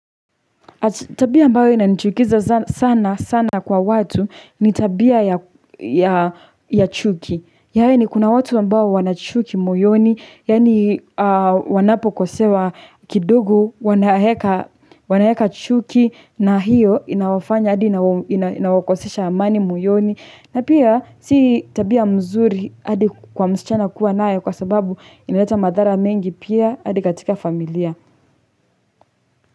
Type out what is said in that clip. Tabia ambayo inanchukiza sana, sana kwa watu, ni tabia ya chuki. Yaani ni kuna watu ambao wana chuki moyoni, yaani ni wanapokosewa kidogo wanaweka chuki, na hiyo inawafanya, hadi inawakosesha amani moyoni. Na pia, si tabia mzuri, hadi kwa msichana kuwa nayo, kwa sababu inaleta madhara mengi pia, hadi katika familia.